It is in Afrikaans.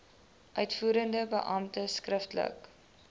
uitvoerende beampte skriftelik